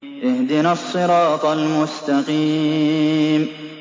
اهْدِنَا الصِّرَاطَ الْمُسْتَقِيمَ